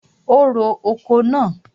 O ro oko náà.